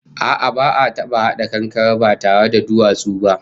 A'a, ba'a taba hada kankare ba tare da duwatsu ba